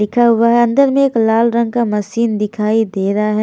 लिखा हुआ है अंदर में एक लाल रंग का मशीन दिखाई दे रहा है।